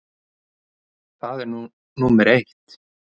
Það er nú númer eitt.